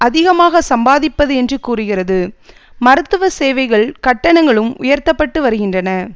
அதிகமாக சம்பாதிப்பது என்று கூறுகிறது மருத்துவ சேவைகள் கட்டணங்களும் உயர்த்தப்பட்டு வருகின்றன